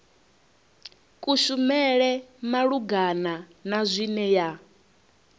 kushumele malugana na zwine ya